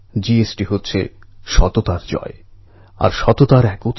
একতা আমাদের সবার আপনাকে নিয়ে গর্ব হয়